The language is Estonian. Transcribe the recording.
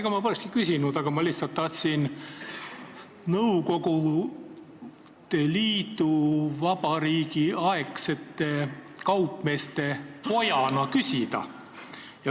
Ega ma polekski küsinud, aga ma lihtsalt tahtsin liiduvabariigiaegsete kaupmeeste pojana küsida.